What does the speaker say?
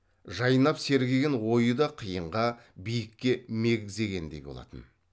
жайнап сергіген ойы да қиынға биікке мегзегендей болатын